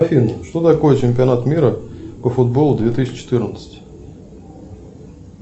афина что такое чемпионат мира по футболу две тысячи четырнадцать